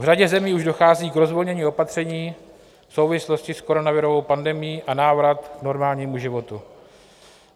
V řadě zemí už dochází k rozvolnění opatření v souvislosti s koronavirovou pandemií a návratu k normálnímu životu.